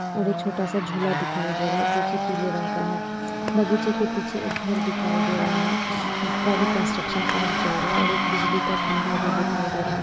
और एक छोटासा झूला दिखाई दे रहा है जो की पिले रंग का है बगीचे के पीछे एक घर दिखाई दे रहा है जिसका अभी कंस्ट्रक्शन काम चल रहा है और एक बिजली का खंबा भी दिखाई दे रहा है।